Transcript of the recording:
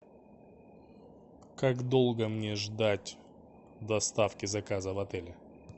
как долго мне ждать доставки заказа в отеле